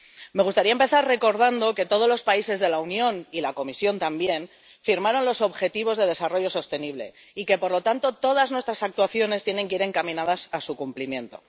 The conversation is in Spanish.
Me gustaría empezar recordando que todos los países de la Unión, y la Comisión también, firmaron los Objetivos de Desarrollo Sostenible y que, por lo tanto, todas nuestras actuaciones tienen que ir encaminadas a su cumplimiento.